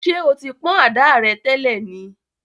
Ṣé o ti pọ̀n ada rẹ̀ tẹ́lẹ̀ ni?